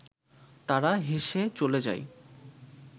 তারা হেসে চলে যায়